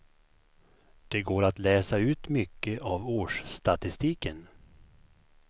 Det går att läsa ut mycket av årsstatistiken.